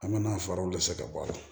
An ka na faraw de fɛ ka bɔ a la